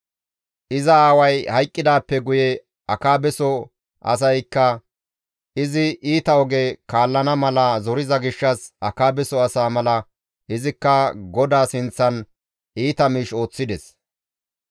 Iza aaway hayqqidaappe guye Akaabeso asaykka izi iita oge kaallana mala zoriza gishshas Akaabeso asa mala izikka GODAA sinththan iita miish ooththides.